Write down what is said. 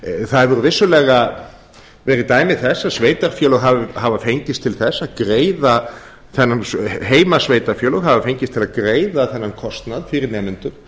það hafa vissulega verið dæmi þess að heimasveitarfélög hafa fengist til þess að greiða þennan kostnað fyrir nemendur